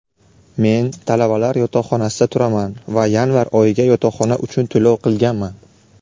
Men talabalar yotoqxonasida turaman va yanvar oyiga yotoqxona uchun to‘lov qilganman.